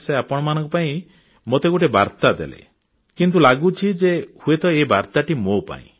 ସେ ଆପଣମାନଙ୍କ ପାଇଁ ମୋତେ ଗୋଟିଏ ବାର୍ତ୍ତା ଦେଲେ କିନ୍ତୁ ଲାଗୁଛି ଯେ ହୁଏତ ଏହି ବାର୍ତ୍ତାଟି ମୋ ପାଇଁ